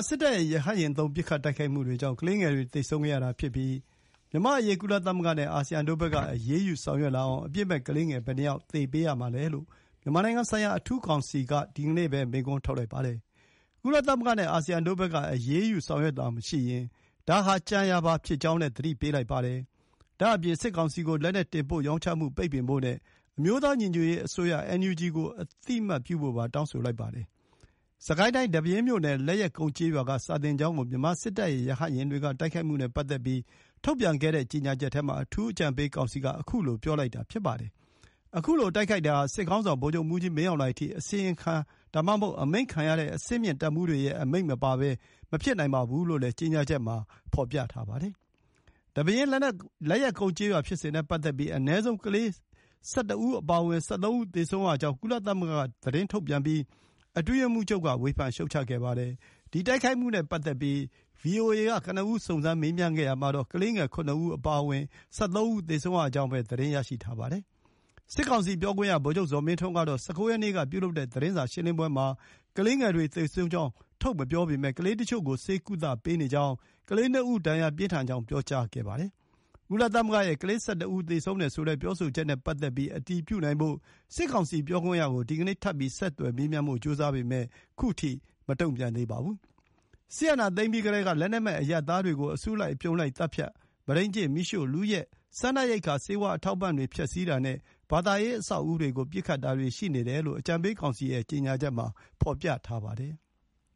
စစ်တပ်ရဲ့ ရဟတ်ယာဉ်သုံး ပစ်ခတ်တိုက်ခိုက်မှုတွေကြောင့် ကလေးငယ်တွေ သေဆုံးခဲ့ရတာပြီး မြန်မာ့အရေး ကုလသမဂ္ဂနဲ့ အာဆီယံတို့ဘက်က အရေးယူဆောင်ရွက်လာအောင် အပြစ် မဲ့ကလေးငယ် ဘယ်နှစ်ယောက် သေပေးရမှာလဲ” လို့ မြန်မာနိုင်ငံဆိုင်ရာ အထူးကောင်စီက ဒီကနေ့ပဲ မေးခွန်းထုတ်လိုက်ပါတယ်။ “ကုလသမဂ္ဂနဲ့ အာဆီယံတို့ဘက်က အရေးယူဆောင်ရွက်တာမရှိရင် ဒါဟာ ကြံရာပါဖြစ်ကြောင်း” လည်း သတိပေးလိုက်ပါတယ်။ ဒါ့အပြင် စစ်ကောင်စီကို လက်နက်တင်ပို့ရောင်းချမှု ပိတ်ပင်ဖို့နဲ့ အမျိုးသားညီညွတ်ရေးအစိုးရ NUG ကို အသိမှတ်ပြုဖို့ပါ တောင်းဆိုလိုက်ပါတယ်။ စစ်ကိုင်းတိုင်း ဒီပဲယင်းမြို့နယ် လက်ယက်ကုန်းကျေးရွာက စာသင်ကျောင်းကို မြန်မာစစ်တပ်ရဲ့ ရဟတ်ယာဉ်တွေက တိုက်ခိုက်ခဲ့မှုနဲ့ပတ်သက်ပြီး ထုတ်ပြန်ခဲ့တဲ့ကြေညာချက်ထဲမှာ အထူး အကြံပေး ကောင်စီက ခုလို ပြောလိုက်တာဖြစ်ပါတယ်။ အခုလို တိုက်ခိုက်တာဟာ စစ်ခေါင်းဆောင် ဗိုလ်ချုပ်မှူးကြီး မင်းအောင်လှိုင်အထိ အစီရင်ခံ ဒါမှမဟုတ် အမိန့်ခံရတဲ့ အဆင့်မြင့်တပ်မှူးတွေရဲ့ အမိန့်မပါဘဲမဖြစ်နိုင်ဘူးလို့လည်း ကြေညာချက်မှာ ဖေါ်ပြထားပါတယ်။ ဒီပဲယင်း လက်ယက်ကုန်းကျေးရွာဖြစ်စဉ်နဲ့ ပတ်သက်ပြီး အနည်းဆုံး ကလေးငယ် ၁၁ ဦးအပါအဝင် ၁၃ ဦးသေဆုံးရကြောင်း ကုလသမဂ္ဂက သတင်းထုတ်ပြန်ပြီး အတွင်းရေးမှုးချုပ်က ဝေဖန်ရှုတ်ချ ခဲ့ပါတယ်။ ဒီတိုက်ခိုက်မှုနဲ့ပတ်သက်ပြီး VOA က ကနဦးစုံစမ်း မေးမြန်းခဲ့ရာမှာတော့ ကလေးငယ် ၇ ဦး အပါအဝင် ၁၃ ဦး သေဆုံးရကြောင်းပဲ သတင်းရရှိထားပါတယ်။ စစ်ကောင်စီပြောခွင့်ရ ဗိုလ် ချုပ်ဇော်မင်းထွန်းကတော့ ၁၉ ရက်နေ့က ပြုလုပ်တဲ့သတင်းစာရှင်းလင်းပွဲမှာ ကလေးငယ်တွေသေဆုံးကြောင်း ထုတ်မပြောပေမယ့် ကလေးတချို့ကို ဆေးကုသပေးနေကြောင်း၊ ကလေး ၂ ဦး ဒဏ်ရာ ပြင်းထန်ကြောင်း ပြောကြားခဲ့တာပါ။ ကုလသမဂ္ဂရဲ့ ကလေး ၁၁ ဦး သေဆုံးတယ်ဆိုတဲ့ ပြောဆိုချက်နဲ့ပတ်သက်ပြီး အတည်ပြုနိုင်ဖို့ စစ်ကောင်စီပြောခွင့်ရကို ဒီကနေ့ ထပ်ပြီး ဆက်သွယ်မေးမြန်းဖို့ ကြိုးစားပေမယ့် ခုထိ မတုံ့ပြန်သေးပါဘူး။ စစ်အာဏာသိမ်းပြီးကတည်းက လက်နက်မဲ့ အရပ်သားတွေကို အစုလိုက်အပြုံလိုက်သတ်ဖြတ်၊ မုဒိန်းကျင့်၊ မီးရှို့၊ လုယက်၊ စားနပ်ရိက္ခာ ဆေးဝါးအထောက်အပံ့တွေ ဖျက်ဆီးတာနဲ့ ဘာသာရေးအဆောက်အဦးတွေကို ပစ်ခတ်တာတွေ ရှိနေတယ်လို့ အကြံပေးကောင်စီရဲ့ ကြေညာချက်မှာ ဖေါ်ပြထားပါတယ်။